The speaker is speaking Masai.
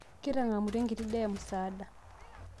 Kitang'amutua enkiti daa e msaada